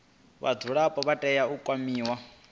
vhadzulapo vha tea u kwamiwa